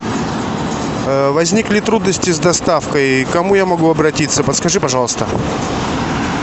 возникли трудности с доставкой к кому я могу обратиться подскажи пожалуйста